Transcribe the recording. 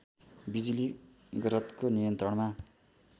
बिजुली गारतको नियन्त्रणमा